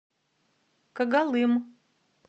когалым